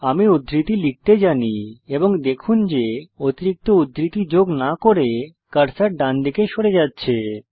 আমি উদ্ধৃতি লিখতে জানি এবং দেখুন যে অতিরিক্ত উদ্ধৃতি যোগ না করে কার্সর ডানদিকে সরে যাচ্ছে